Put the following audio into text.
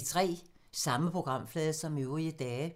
Samme programflade som øvrige dage